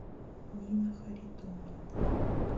нина харитоновна